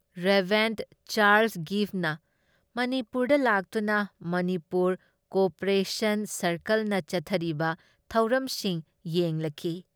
Reverend Charles ꯒꯤꯚꯃ ꯃꯅꯤꯄꯨꯔꯗ ꯂꯥꯛꯇꯨꯅ ꯃꯅꯤꯄꯨꯔ ꯀꯣꯑꯣꯄꯔꯦꯁꯟ ꯁꯥꯔꯀꯜꯅ ꯆꯠꯊꯔꯤꯕ ꯊꯧꯔꯝꯁꯤꯡ ꯌꯦꯡꯂꯈꯤ ꯫